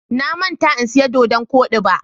Na manta in siya doɗon koɗi ba.